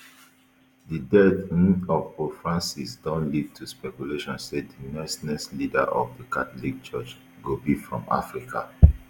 di death um of pope francis don lead to speculation say di next next leader of di catholic church go be from africa